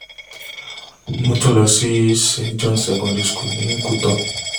mo tún lọ sí st john secondary school ní kútó